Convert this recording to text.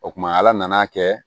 O kuma ala nan'a kɛ